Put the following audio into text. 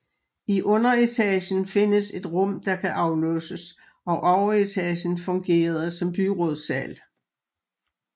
I underetagen findes et rum der kan aflåses og overetagen fungerede som byrådssal